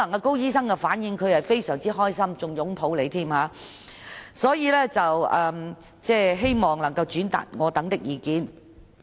高醫生的反應可能是非常高興，甚至會擁抱局長，所以我希望局長能轉達我們的意見。